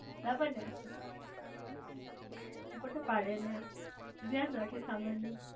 બરાબર ને ફોટો પાડે ને ધ્યાન રાખે સમાન નું